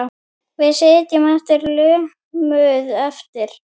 Við sitjum sem lömuð eftir.